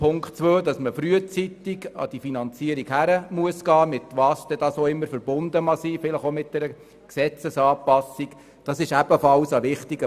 Punkt 2, der besagt, dass man frühzeitig an die Finanzierung herangehen muss, vielleicht verbunden mit einer Gesetzesanpassung, ist ebenfalls wichtig.